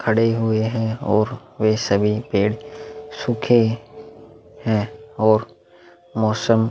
खड़े हुए हैं और वे सभी पेड़ सूखे हैं और मौसम --